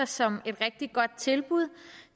som et rigtig godt tilbud